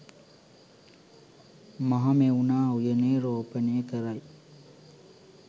මහමෙවුනා උයනේ් රෝපණය කරයි.